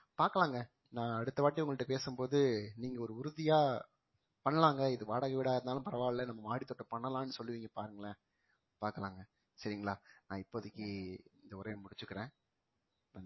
பாக்கலாங்க நான் அடுத்த வாட்டி உங்கள்ட்ட பேசும்போது நீங்க ஒரு உறுதியா பண்ணலாங்க இது வாடகை வீடா இருந்தாலும் பரவால்ல நம்ம மாடி தோட்டம் பண்ணலாம்னு சொல்லுவீங்க பாருங்களேன் பாக்கலாங்க சரிங்களா நான் இப்போதைக்கு இந்த உரையை முடிச்சிக்கிறேன்